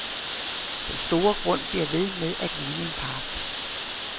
Den store grund bliver ved med at ligne en park.